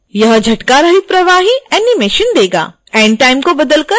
यह झटकारहित प्रवाही animation देगा